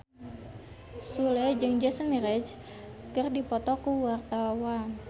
Sule jeung Jason Mraz keur dipoto ku wartawan